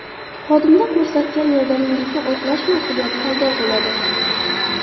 Xodimda ko‘rsatgan yordamingizni oqlash mas’uliyati paydo bo‘ladi.